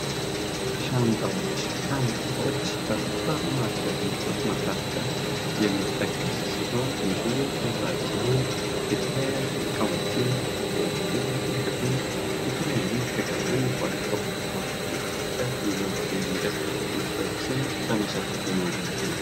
ሻንጣዎች ሻንጣዎች ከሱፐር ማርኬት ምርቶች መካከል የሚጠቀሱ ሲሆን ይህም ምርታችንን የተለያዩ እቃዎችን ቁሶችን የተለያዩ የተገዙ ከቦታ ቦታ ሲንቀሳቀስ ይዟቸው የሚንቀሳቀስ ምርቶችን ይዟቸው የሚንቀሳቀስ ምርቶችን ይዞ ለመሸከፍ የሚያገለግል ነው።